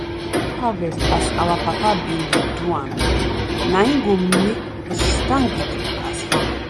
do harvest as our papa bin dey do am na en go make us stand gidigba as farmer.